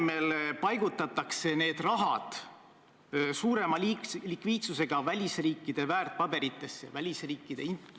Ma mäletan, et kui seda küsimust kevadel arutati, siis koostati üks fotoreportaaž, millel on näha, kuidas Eesti valitsused on oma esimese grupifoto teinud.